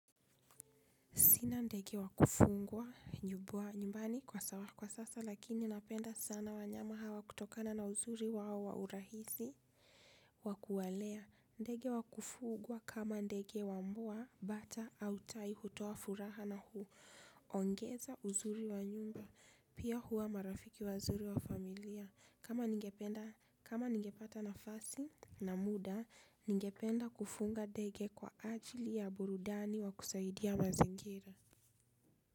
Sina ndege wa kufugwa nyumbani kwa sasa lakini napenda sana wanyama hawa kutokana na uzuri wao wa urahisi wa kuwalea. Ndege wa kufugwa kama ndege wa mvua bata au tai hutoa furaha na hu. Ongeza uzuri wa nyumba pia huwa marafiki wazuri wa familia. Kama ningependa kama ningepata nafasi na muda ningependa kufuga ndege kwa ajili ya burudani wa kusaidia mazingira.